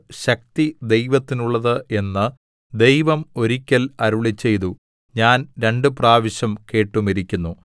ശക്തി ദൈവത്തിനുള്ളത് എന്ന് ദൈവം ഒരിക്കൽ അരുളിച്ചെയ്തു ഞാൻ രണ്ടുപ്രാവശ്യം കേട്ടുമിരിക്കുന്നു